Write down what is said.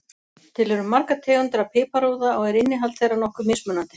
Til eru margar tegundir af piparúða og er innihald þeirra nokkuð mismunandi.